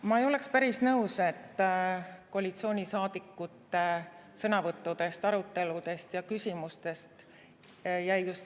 Ma ei ole päris nõus, et koalitsioonisaadikute sõnavõttudest, aruteludest ja küsimustest jäi selline mulje.